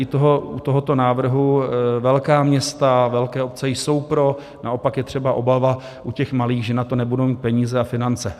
I u tohoto návrhu velká města, velké obce jsou pro, naopak je třeba obava u těch malých, že na to nebudou mít peníze a finance.